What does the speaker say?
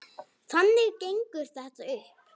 Þannig gengur þetta upp.